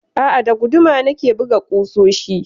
A'a, da guduma na ke buga ƙusoshi.